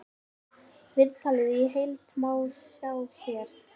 Viðtalið í heild má sjá hér